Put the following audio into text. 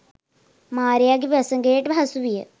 මාරයාගේ වසඟයට හසුවිය